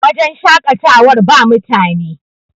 wajen shaƙatawar ba mutane